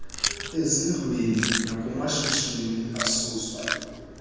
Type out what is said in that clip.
ezindlwini nakumashishini asuswa